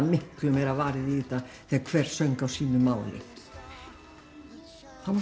miklu meira varið í þetta þegar hver söng á sínum máli þá